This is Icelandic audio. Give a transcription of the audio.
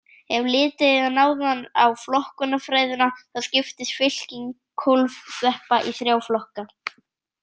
Ef litið er nánar á flokkunarfræðina þá skiptist fylking kólfsveppa í þrjá flokka.